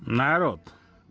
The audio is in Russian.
народ